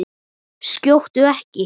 Skjóttu ekki.